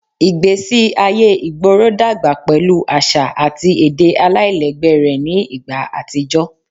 Igbesi aye igboro dagba pẹlu aṣa ati ede alailẹgbẹ rẹ ni igba atijọ